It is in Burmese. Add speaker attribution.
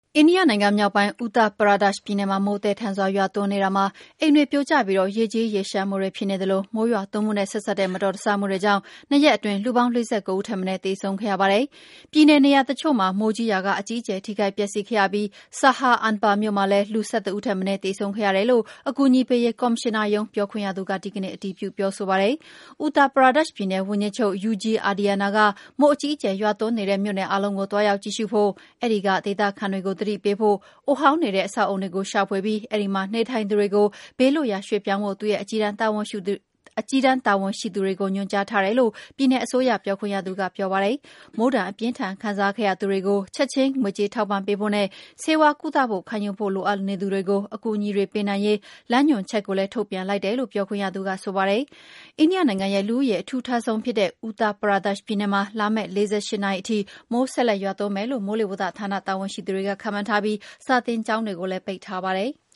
Speaker 1: အိန္ဒိယနိုင်ငံမြောက်ပိုင်း Uttar Pradesh ပြည်နယ်မှာ မိုးသည်းထန်စွာ ရွာသွန်း နေရာမှာ အိမ်တွေပြိုကျပြီး ရေကြီးရေလျှံဖြစ်နေသလို မိုးရွာသွန်းမှုနဲ့ ဆက်စပ်တဲ့ မတော်တဆမှုတွေကြောင့် ၂ ရက်အတွင်း လူပေါင်း ၄၉ ဦးထက်မနည်း သေဆုံး ခဲ့ရပါတယ်။ ပြည်နယ်နေရာအချို့မှာ မိုးကြီးရာက အကြီးအကျယ်ထိခိုက်ပျက်စီးခဲ့ရပြီး Saharanpur မြို့မှာလည်း လူ ၁၁ ဦး ထက်မနည်း သေဆုံးခဲ့ရတယ်လို့ အကူ အညီပေးရေး ကော်မရှင်နာရုံးပြောခွင့်ရသူက ဒီကနေ့ အတည်ပြု ပြောပါတယ်။ Uttar Pradesh ပြည်နယ်ဝန်ကြီးချုပ် Yogi Adityanath က မိုးအကြီးအကျယ် ရွာ သွန်းနေတဲ့ မြို့နယ်အားလုံးကို သွားရောက်ကြည့်ရှုဖို့၊ အဲဒီက ဒေသခံတွေကို သတိပေးဖို့၊ အိုဟောင်းနေတဲ့ အဆောက်အအုံတွေကို ရှာဖွေပြီး အဲဒီမှာ နေ ထိုင် နေသူတွေကို ဘေးလွှတ်ရာရွှေ့ပြောင်းဖို့ သူ့ရဲ့အကြီးတန်း တာဝန်ရှိသူတွေကို ညွှန်ကြားထား တယ်လို့ ပြည်နယ်အစိုးရ ပြောခွင့်ရသူက ဆိုပါတယ်။ မိုးဒဏ် အပြင်းအထန်ခံစားခဲ့ရသူတွေကို ချက်ခြင်း ငွေကြေးထောက်ပံ့ဖို့နဲ့ ဆေးဝါး ကုသမှုခံယူဖို့ လိုအပ်နေသူ တွေကို အကူအညီတွေပေးရေး လမ်းညွှန်ချက်ကို လည်း ထုန်ပြန်လိုက်တယ်လို့လည်း ပြောခွင့်ရက ဆိုပါတယ်။ နိုင်ငံရဲ့လူဦးရေ အထူထပ်ဆုံးဖြစ်တဲ့Uttar Pradesh ပြည်နယ်မှာ လာမယ့် ၄၈ နာရီထိ မိုး ဆက် လက် ရွာသွန်း မယ်လို့ မိုးလေဝသဌာန တာဝန်ရှိသူတွေက ခန့်မှန်းထားပြီး စာသင်ကျောင်းတွေကိုလည်း ပိတ်ထားပါတယ်။